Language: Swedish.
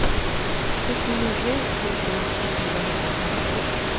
sjuttionio tusen fyrahundrafemton